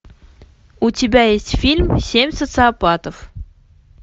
у тебя есть фильм семь социопатов